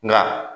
Nka